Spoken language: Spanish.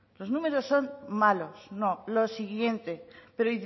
los números son malos no lo siguiente pero